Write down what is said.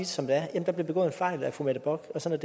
som det er der blev begået en fejl af fru mette bock sådan